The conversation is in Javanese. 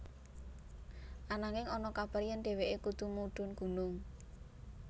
Ananging ana kabar yèn dhéwéké kudu mudhun gunung